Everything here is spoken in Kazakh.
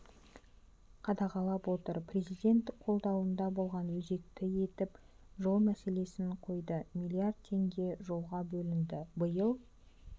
қадағалап отыр президент қабылдауында болғанда өзекті етіп жол мәселесін қойды млрд теңге жолға бөлінді биыл